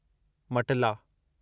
मटला